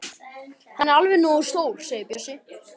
Hann er alveg nógu stór segir Bjössi.